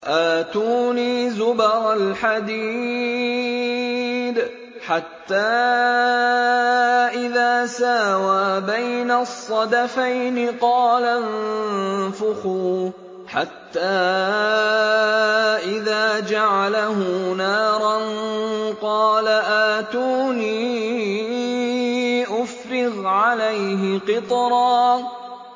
آتُونِي زُبَرَ الْحَدِيدِ ۖ حَتَّىٰ إِذَا سَاوَىٰ بَيْنَ الصَّدَفَيْنِ قَالَ انفُخُوا ۖ حَتَّىٰ إِذَا جَعَلَهُ نَارًا قَالَ آتُونِي أُفْرِغْ عَلَيْهِ قِطْرًا